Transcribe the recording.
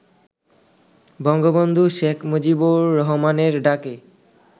বঙ্গবন্ধু শেখ মুজিবুর রহমানের ডাকে